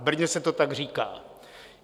V Brně se to tak říká.